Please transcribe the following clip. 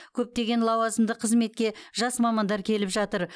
көптеген лауазымды қызметке жас мамандар келіп жатыр